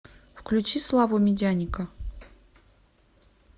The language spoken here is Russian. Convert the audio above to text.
включи славу медяника